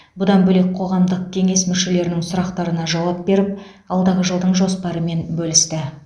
бұдан бөлек қоғамдық кеңес мүшелерінің сұрақтарына жауап беріп алдағы жылдың жоспарымен бөлісті